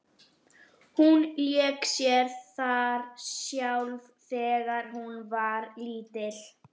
Hún lék sér þar sjálf þegar hún var lítil.